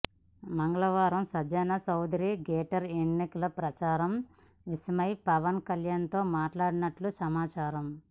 మంగళవారం సుజనా చౌదరి గ్రేటర్ ఎన్నికల ప్రచార విషయమై పవన్ కళ్యాణ్తో మాట్లాడినట్లు సమాచారం